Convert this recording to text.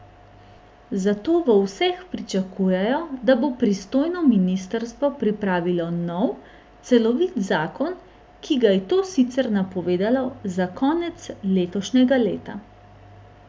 Zato v vseh pričakujejo, da bo pristojno ministrstvo pripravilo nov, celovit zakon, ki ga je to sicer napovedalo za konec letošnjega leta.